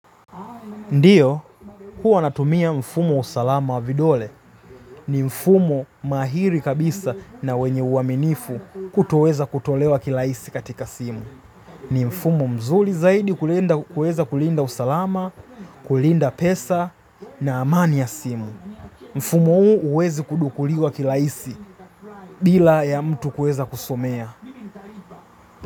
Ndiyo, huwa natumia mfumo usalama wa vidole ni mfumo mahiri kabisa na wenye uaminifu kutoweza kutolewa kirahisi katika simu. Ni mfumo mzuri zaidi kuweza kulinda usalama, kulinda pesa na amani ya simu. Mfumo huu huwezi kudukuliwa kirahisi bila ya mtu kuweza kusomea.